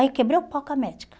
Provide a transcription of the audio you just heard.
Aí quebrei o pau com a médica.